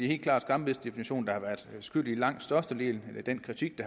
helt klart skambidsdefinitionen der har været skyld i langt størstedelen af den kritik